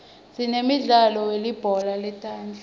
sinemidlalo yelibhola letandla